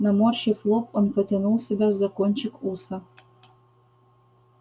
наморщив лоб он потянул себя за кончик уса